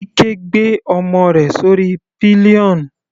Ike gbé ọmọ rẹ̀ sórí pillion.